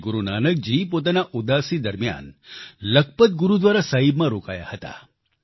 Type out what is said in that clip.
શ્રી ગુરુ નાનકજી પોતાના ઉદાસી દરમિયાન લખપત ગુરુદ્વારા સાહિબમાં રોકાયા હતા